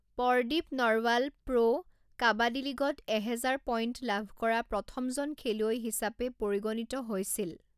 Pardeep Narwal pro kabaddi লীগত এহেজাৰ point লাভ কৰা প্ৰথমজন খেলুৱৈ হিচাপে পৰিগণিত হৈছিল।